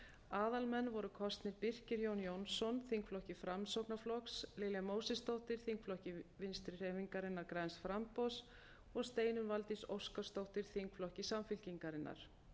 aðalmenn voru kosnir birkir jón jónsson þingflokki framsóknarflokks lilja mósesdóttir þingflokki vinstri hreyfingarinnar græns framboðs og steinunn valdís óskarsdóttir þingflokki samfylkingarinnar